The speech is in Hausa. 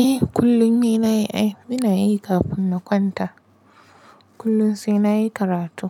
Eh kullum ni nayi ai. Ina yi kafin na kwanta. Kullum sai nayi karatu.